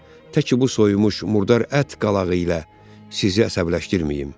Tək ki bu soyunmuş, murdar ət qalağı ilə sizi əsəbləşdirməyim.